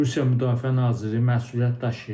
Rusiya Müdafiə Naziri məsuliyyət daşıyır.